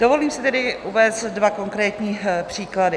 Dovolím si tedy uvést dva konkrétní příklady.